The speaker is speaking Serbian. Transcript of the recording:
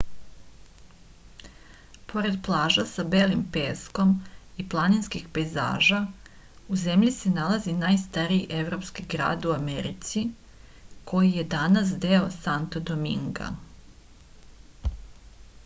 pored plaža sa belim peskom i planinskih pejzaža u zemlji se nalazi najstariji evropski grad u americi koji je danas deo santo dominga